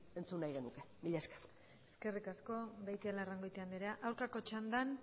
ere entzun nahi genuke mila esker eskerrik asko beitialarrangoitia andrea aurkako txandan